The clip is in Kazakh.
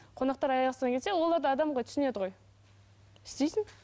қонақтар аяқ астынан келсе олар да адам ғой түсінеді ғой істейсің